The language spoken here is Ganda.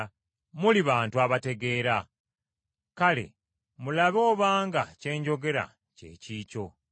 Muli bantu abategeera. Kale, mulabe obanga kye njogera kye kikyo.